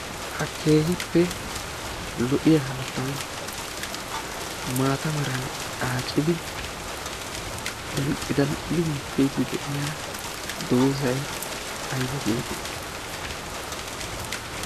ha keehippe lo'iya hanotan maata meran aacidi dalqi dalqqiya dozzay aybba geetettii?